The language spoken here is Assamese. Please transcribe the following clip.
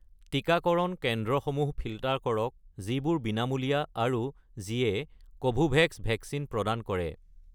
টিকাকৰণ কেন্দ্ৰসমূহ ফিল্টাৰ কৰক যিবোৰ বিনামূলীয়া আৰু যিয়ে কোভোভেক্স ভেকচিন প্ৰদান কৰে